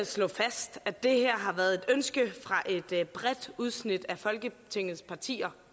slå fast at det her har været et ønske fra et et bredt udsnit af folketingets partier